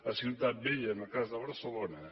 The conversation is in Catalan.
a ciutat vella en el cas de barcelona